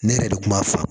Ne yɛrɛ de kun b'a fa